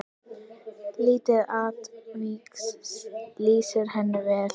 Lítið atvik lýsir henni vel.